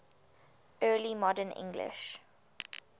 early modern english